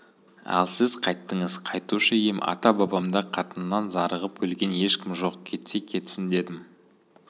ал сіз қайттыңыз қайтушы ем ата-бабамда қатыннан зарығып өлген ешкім жоқ кетсе кетсін дедім